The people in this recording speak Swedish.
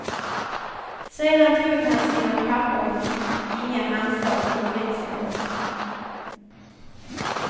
Sedan tog han sina papper och gick, inga handslag utväxlades.